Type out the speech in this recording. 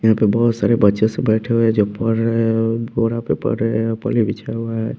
यहां पे बहुत सारे बच्चे से बैठे हुए हैं जो पढ़ रहे हैं बोरा पे पढ़ रहे हैं पली बिछा हुआ है।